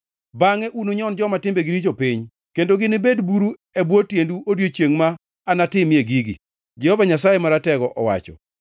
Bangʼe ununyon joma timbegi richo piny; kendo ginibed buru e bwo tiendu odiechiengʼ ma anatimie gigi,” Jehova Nyasaye Maratego owacho.